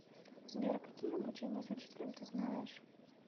сбер какие обучение с учителем ты знаешь